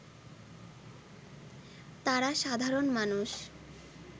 তারা সাধারণ মানুষ